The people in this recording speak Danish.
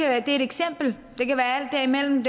er et eksempel det kan være alt derimellem